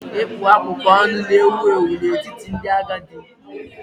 Ịkpụ akpụkpọ anụ na-ewu ewu n'etiti ndị agadi.